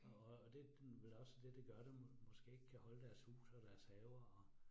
Og og og det vel også det det gør det måske ikke kan holde deres hus og deres haver og